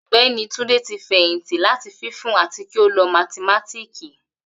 Ogbeni Tunde ti feyinti lati funfun ati ki o loo mathimatiki